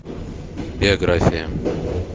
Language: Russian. биография